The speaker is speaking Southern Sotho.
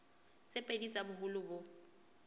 tse pedi tsa boholo bo